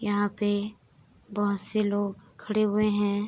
यहाँ पे बहोत से लोग खड़े हुए हैं।